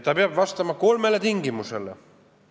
Ta peab vastama kolmele tingimusele.